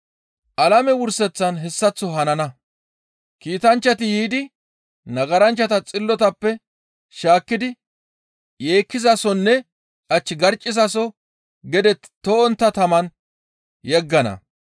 Alame wurseththan hessaththo hanana. Kiitanchchati yiidi nagaranchchata xillotappe shaakkidi yeekkizasonne ach garccizaso gede to7ontta taman yeggana.